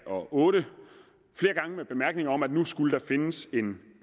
og otte med bemærkningen om at nu skulle der findes en